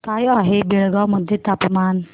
काय आहे बेळगाव मध्ये तापमान